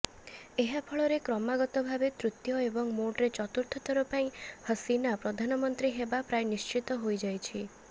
ଏହାଫଳରେ କ୍ରମାଗତ ଭାବେ ତୃତୀୟ ଏବଂ ମୋଟରେ ଚତୁର୍ଥଥର ପାଇଁ ହସିନା ପ୍ରଧାନମନ୍ତ୍ରୀ ହେବା ପ୍ରାୟ ନିଶ୍ଚିତ ହୋଇଯାଇଛି